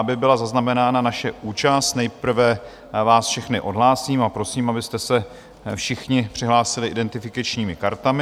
Aby byla zaznamenána naše účast, nejprve vás všechny odhlásím a prosím, abyste se všichni přihlásili identifikačními kartami.